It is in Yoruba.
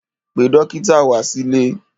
Pe dọ́kítà wá sílé!